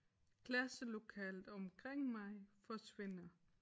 Klasselokalet omkring mig forsvinder